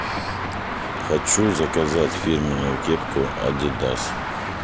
хочу заказать фирменную кепку адидас